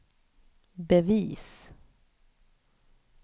bevis